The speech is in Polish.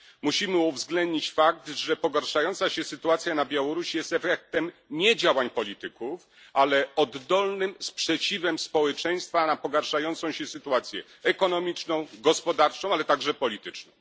Musimy uwzględnić fakt, że pogarszająca się sytuacja na Białorusi jest efektem nie działań polityków, ale oddolnym sprzeciwem społeczeństwa na pogarszającą się sytuację ekonomiczną i gospodarczą, ale także polityczną.